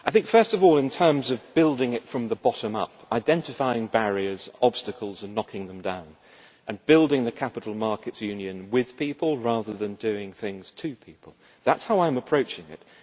First of all, in terms of building from the bottom up, identifying barriers and obstacles and knocking them down, and building the capital markets union with people, rather than doing things to people that is how I am approaching it.